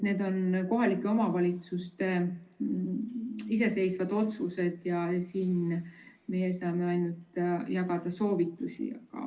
Need on kohalike omavalitsuste iseseisvad otsused ja siin meie saame ainult jagada soovitusi.